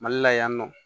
Mali la yan nɔ